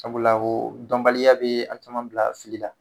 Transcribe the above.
Sabula o dɔnbaliya bɛ an caman bila fili la.